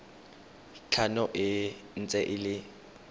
tlhano e ntse e le